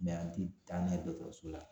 an ti taa n'a ye dɔkɔtɔrɔso la